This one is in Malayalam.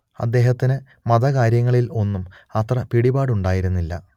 അദ്ദേഹത്തിന് മതകാര്യങ്ങളിൽ ഒന്നും അത്ര പിടിപാടുണ്ടായിരുന്നില്ല